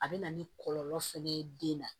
A bɛ na ni kɔlɔlɔ fɛnɛ ye den na